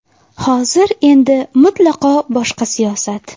Hozir endi mutlaqo boshqa siyosat.